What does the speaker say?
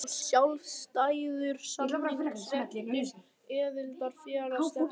Hver sé þá sjálfstæður samningsréttur aðildarfélaga stefnanda?